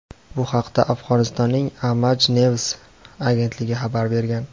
Bu haqda Afg‘onistonning "Aamaj News" agentligi xabar bergan.